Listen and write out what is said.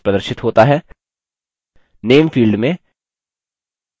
name field में new training lecture प्रविष्ट करें